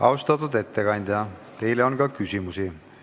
Austatud ettekandja, teile on ka küsimusi.